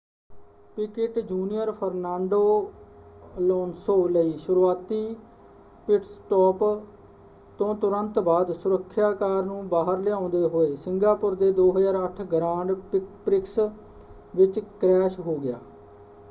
ਪਿਕਿਟ junior Fernando Alonso ਲਈ ਸ਼ੁਰੂਆਤੀ pitstop ਤੋਂ ਤੁਰੰਤ ਬਾਅਦ ਸੁਰੱਖਿਆ ਕਾਰ ਨੂੰ ਬਾਹਰ ਲਿਆਉਂਦੇ ਹੋਏ ਸਿੰਗਾਪੁਰ ਦੇ 2008 ਗ੍ਰਾਂਡ ਪ੍ਰਿਕਸ ਵਿੱਚ ਕ੍ਰੈਸ਼ ਹੋ ਗਿਆ।